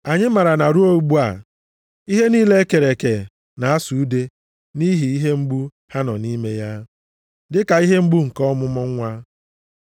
Anyị maara na ruo ugbu a, ihe niile e kere eke na-asụ ude nʼihi ihe mgbu ha nọ nʼime ya, dịka ihe mgbu nke ọmụmụ nwa.